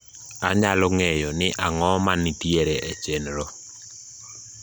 anyalo ng`eyo ni ang`o mantiere e chenro